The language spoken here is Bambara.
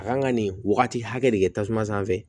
A kan ka nin wagati hakɛ de kɛ tasuma sanfɛ